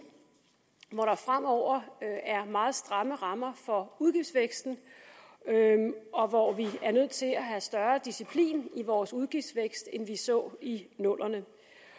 hvor der fremover er meget stramme rammer for udgiftsvæksten og hvor vi er nødt til at have større disciplin i vores udgiftsvækst end vi så i nullerne